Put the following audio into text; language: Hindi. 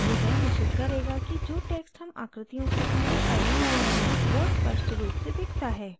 यह निश्चित करेगा कि जो text हम आकृतियों के अंदर type करते हैं वो स्पष्ट रूप से दिखता है